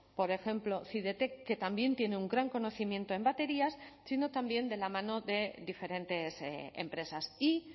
por ejemplo cidetec que también tiene un gran conocimiento en baterías sino también de la mano de diferentes empresas y